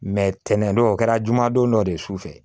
tɛnɛndon o kɛra juman don dɔ de ye su fɛ